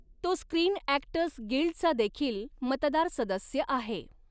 तो screen actors गिल्डचा देखील मतदार सदस्य आहे.